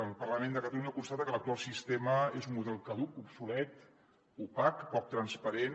el parlament de catalunya constata que l’ac·tual sistema és un model caduc obsolet opac poc transparent